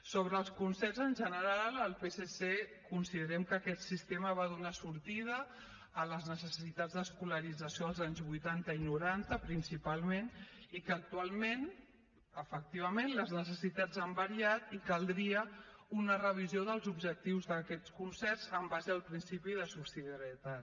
sobre els concerts en general el psc considerem que aquest sistema va donar sortida a les necessitats d’escolarització als anys vuitanta i noranta principalment i que actualment efectivament les necessitats han variat i caldria una revisió dels objectius d’aquests concerts en base al principi de subsidiarietat